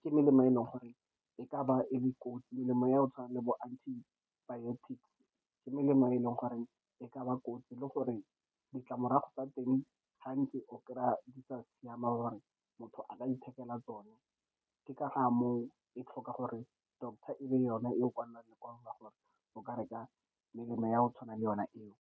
ke melemo e e leng gore e ka ba e le kotsi. Melemo ya go tshwana le bo antibiotics, ke melemo e e leng gore e ka ba kotsi, le gore ditlamorago tsa teng gantsi o kry-a di sa siame, gore motho a ka ithekela tsone. Ke ka ga moo e tlhokang gore doctor e be yona e go kwalelang lekwalo gore o ka reka melemo ya go tshwana le yona eo.